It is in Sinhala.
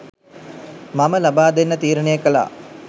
මම ලබා දෙන්න තීරණය කළා